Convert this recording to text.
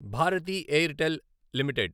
Bharati Airtel limited